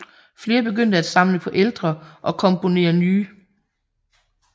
Flere begyndte at samle på ældre og komponere nye